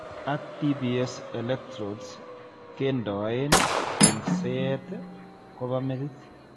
Ak DBS electrodes keendoen eng'seet kobaa metit